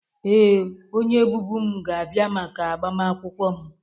Ee, onye bụbu m ga-abịa maka agbamakwụkwọ m